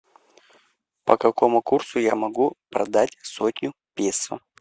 по какому курсу я могу продать сотню песо